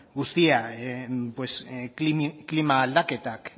guztian klima aldaketak